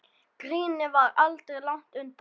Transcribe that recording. Grínið var aldrei langt undan.